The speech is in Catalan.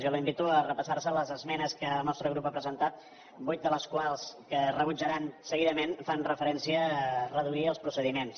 jo la invito a repassar les esmenes que el nostre grup ha presentat vuit de les quals que rebutjaran seguidament fan referència a reduir els procediments